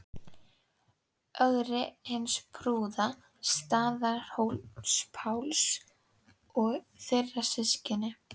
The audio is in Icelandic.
Ögri hins prúða, Staðarhóls-Páls og þeirra systkina.